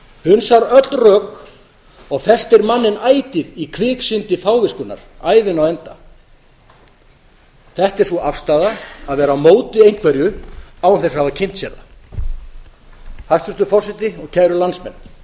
hunsar öll rök og festir manninn ætíð í kviksyndi fáviskunnar ævina á enda þetta er sú afstaða að vera á móti einhverju án þess að hafa kynnt sér það hæstvirtur forseti og kæru landsmenn